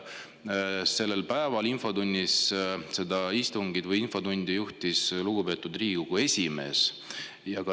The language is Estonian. Sellel päeval juhtis infotundi lugupeetud Riigikogu esimees.